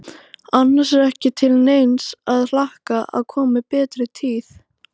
Annars er ekki til neins að hlakka að komi betri tíð.